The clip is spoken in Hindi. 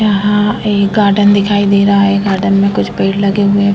यहाँ एक गार्डन दिखाई दे रहा है। गार्डन मे कुछ पेड़ लगे हुएं --